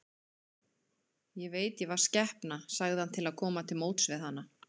Ég veit ég var skepna, sagði hann til að koma til móts við hana.